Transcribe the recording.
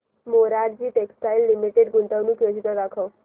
Morarji textiles limited गुंतवणूक योजना दाखव